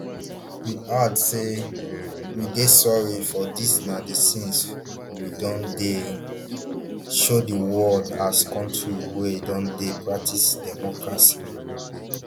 im add say we dey sorry say dis na di scenes we don dey um show di world as kontri wia don dey practise democracy